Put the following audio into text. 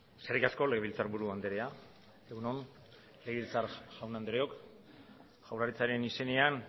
eskerrik asko legebiltzarburu anderea egun on legebiltzar jaun andreok jaurlaritzaren izenenean